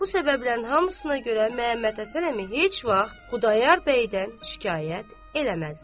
Bu səbəblərin hamısına görə Məhəmməd Həsən əmi heç vaxt Xudayar bəydən şikayət eləməzdi.